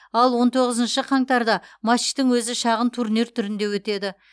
ал он тоғызыншы қаңтарда матчтың өзі шағын турнир түрінде өтеді